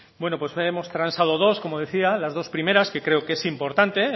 pues hemos transado dos como decía las dos primeras que creo que es importante